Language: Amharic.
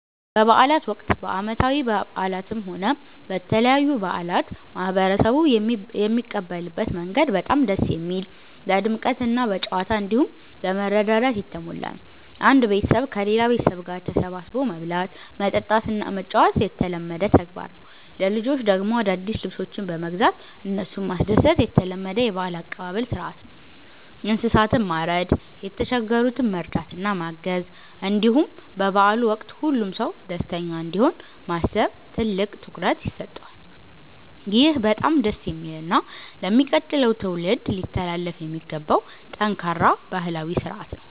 በበዓላት ወቅት፣ በዓመታዊ በዓላትም ሆነ በተለያዩ በዓላት ማህበረሰቡ የሚቀበልበት መንገድ በጣም ደስ የሚል፣ በድምቀትና በጨዋታ፣ እንዲሁም በመረዳዳት የተሞላ ነው። አንድ ቤተሰብ ከሌላ ቤተሰብ ጋር ተሰባስቦ መብላት፣ መጠጣትና መጫወት የተለመደ ተግባር ነው። ለልጆች ደግሞ አዳዲስ ልብሶችን በመግዛት እነሱን ማስደሰት የተለመደ የበዓል አቀባበል ሥርዓት ነው። እንስሳትን ማረድ፣ የተቸገሩትን መርዳትና ማገዝ፣ እንዲሁም በበዓሉ ወቅት ሁሉም ሰው ደስተኛ እንዲሆን ማሰብ ትልቅ ትኩረት ይሰጠዋል። ይህ በጣም ደስ የሚልና ለሚቀጥለው ትውልድ ሊተላለፍ የሚገባው ጠንካራ ባህላዊ ሥርዓት ነው።